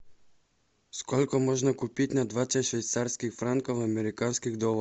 сколько можно купить на двадцать швейцарских франков американских долларов